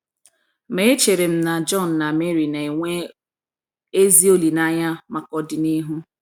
Ma echere m na John na Mary na - enwe ezi olileanya maka ọdịnihu. ”